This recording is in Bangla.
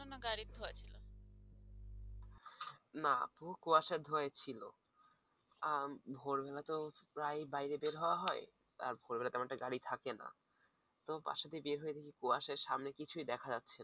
না তো কুয়াশার ধোঁয়ায় ছিলো আহ ভোর বেলা তো প্রায় বাইরে বের হওয়া হয় আর ভোর বেলায় তেমন একটা গাড়ি থাকে না। তো বাসা থেকে বেরিয়ে দেখি সামনে কিছুই দেখা যাচ্ছে না।